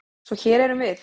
Svo hér erum við.